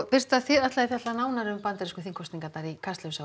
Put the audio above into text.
birta þið ætlið að fjalla nánar um bandarísku þingkosningarnar í Kastljósi